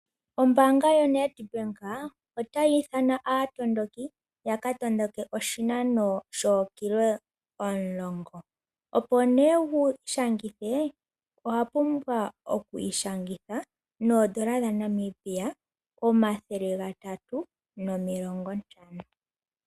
Ombaanga yoNedbank otayi ithana aatondoki ya ka tondoke oshinano shookilometa omulongo, opo ne wi ishangithe owa pumbwa okwi ishangitha noondola dhaNamibia omathele gatatu nomilongontano.